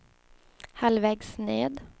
halvvägs ned